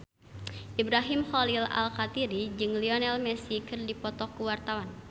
Ibrahim Khalil Alkatiri jeung Lionel Messi keur dipoto ku wartawan